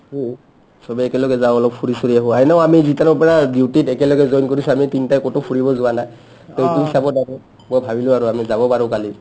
চবে একেলগে যাও অলপ ফুৰি চুৰি আহো এনেও আমি যিতানৰ পৰা duty ত একেলগে join কৰিছো আমি তিনটাই ক'তো ফুৰিব যোৱা নাই to চাবৰ বাবে মই ভাবিলো আৰু আমি যাব পাৰো কালি